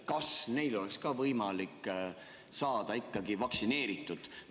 Kas neil oleks võimalik ka saada vaktsineeritud?